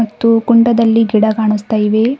ಮತ್ತು ಕುಂಡದಲ್ಲಿ ಗಿಡ ಕಾಣುಸ್ತಾ ಇವೆ.